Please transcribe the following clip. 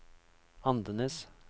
Andenes